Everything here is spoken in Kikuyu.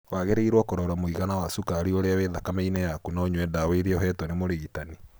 Wagĩrĩiro kũrora mũigana wa cukari ũria wĩ thakame-inĩ yaku na ũnyue ndawa iria ũhetwo nĩ mũrigitani.